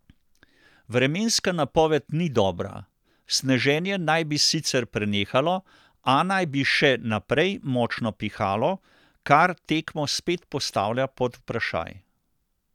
Vremenska napoved ni dobra, sneženje naj bi sicer prenehalo, a naj bi še naprej močno pihalo, kar tekmo spet postavlja pod vprašaj.